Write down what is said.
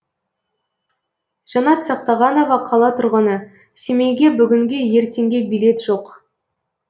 жанат сақтағанова қала тұрғыны семейге бүгінге ертеңге билет жоқ